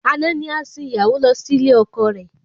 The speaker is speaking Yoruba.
Àná ni a sìn ìyàwó lọ sí ilé ọkọ rẹ